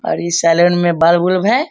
और इ सैलून में बल्ब उल्ब है।